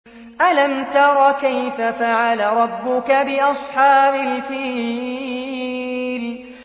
أَلَمْ تَرَ كَيْفَ فَعَلَ رَبُّكَ بِأَصْحَابِ الْفِيلِ